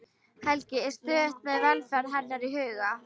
Helgi er stöðugt með velferð hennar í huga.